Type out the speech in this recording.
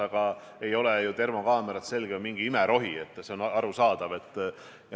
Samas ei ole termokaamerad ilmselgelt mingi imerohi, see on arusaadav.